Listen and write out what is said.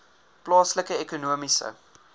plaaslike ekonomiese